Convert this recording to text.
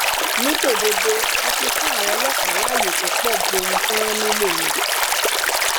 ní tòdodo a ti fún àwọn ọlọpàá láàyè tó pọ ju ohun tí wọn nílò lọ